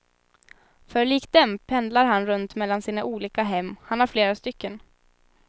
För likt dem pendlar han runt mellan sina olika hem, han har flera stycken.